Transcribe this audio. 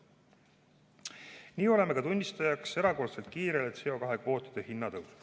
Nii oleme ka tunnistajaks erakordselt kiirele CO2 kvootide hinna tõusule.